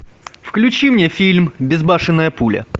включи мне фильм безбашенная пуля